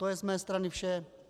To je z mé strany vše.